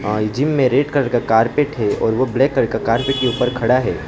और ये जिम में रेड कलर का कारपेट है और वो ब्लैक कलर का कार्पेट के ऊपर खड़ा है।